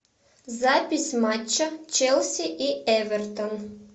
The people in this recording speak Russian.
запись матча челси и эвертон